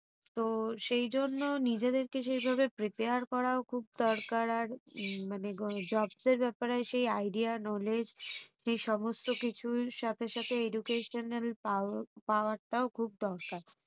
তো সেইজন্য নিজেদেরকে সেইভাবে prepare করাও খুব দরকার আর মানে jobs এর ব্যাপারে সেই idea knowledge সেই সমস্ত কিছুর সাথে সাথে educational pow~ power টাও খুব দরকার